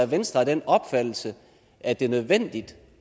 venstre af den opfattelse at det er nødvendigt